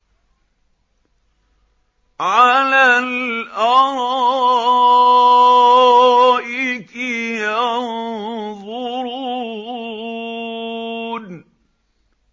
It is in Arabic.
عَلَى الْأَرَائِكِ يَنظُرُونَ